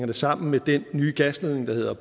det sammen med den nye gasledning der hedder